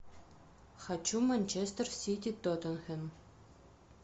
хочу манчестер сити тоттенхэм